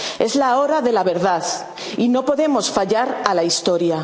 que nunca es la hora de la verdad y no podemos fallar a la